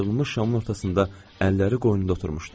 Yandırılmış şamın ortasında əlləri qoynunda oturmuşdu.